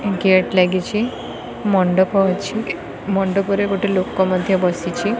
Gate ଲାଗିଛି ମଣ୍ଡପ ଅଛି ମଣ୍ଡପ ରେ ଗୋଟେ ଲୋକ ମଧ୍ୟ ବସିଛି।